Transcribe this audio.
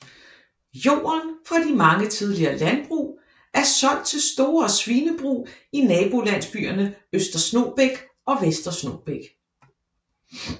Jorden fra de mange tidligere landbrug er solgt til store svinebrug i nabolandsbyerne Øster Snogbæk og Vester Snogbæk